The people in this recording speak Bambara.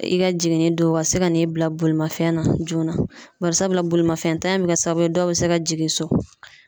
I ka jiginni don , u ka se ka n'i bila bolimafɛn na joona. Bari sabula bolimafɛn ta in be kɛ sababu ye dɔw be se ka jigin so.